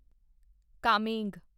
Kameng